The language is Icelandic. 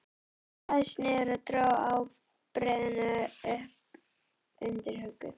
Hún lagðist niður og dró ábreiðuna upp undir höku.